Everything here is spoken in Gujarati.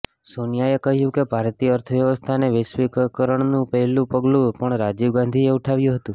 સોનિયાએ કહ્યું કે ભારતીય અર્થવ્યવસ્થાના વૈશ્વિકીકરણનું પહેલું પગલું પણ રાજીવ ગાંધીએ ઉઠાવ્યું હતું